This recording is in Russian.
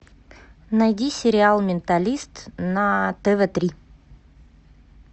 найди сериал менталист на тв три